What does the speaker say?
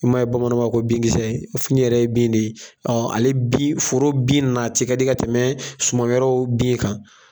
I ma ye bamananw ba fɔ ko binkisɛ, fini yɛrɛ ye bin de ye, ale bin foro bin nati kadi ka tɛmɛ sumawɛrɛw bin kan.